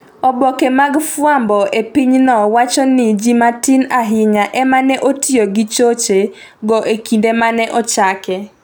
Oboke mag fwambo e pinyno wacho ni ji matin ahinya ema ne otiyo gi choche go e kinde ma ne ochake